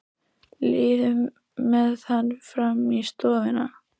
Líður með hann fram í stofuna.